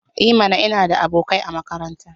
I mana! Ina da abokai a makaranta.